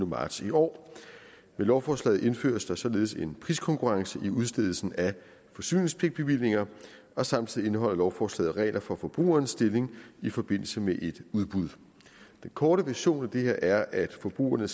marts i år med lovforslaget indføres der således en priskonkurrence i udstedelsen af forsyningspligtbevillinger og samtidig indeholder lovforslaget regler for forbrugerens stilling i forbindelse med et udbud den korte version af det her er at forbrugerne